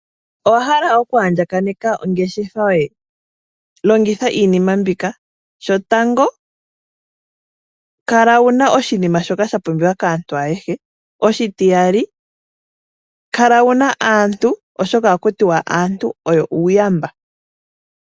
Owa hala oku andjakaneka ongeshefa yoye? Longitha iinima mbika, shotango kala wuna oshinima shoka sha pumbiwa kaantu ayehe. Oshitiyali, kala wuna aantu oshoka ohaku tiwa aantu oyo uuyamba.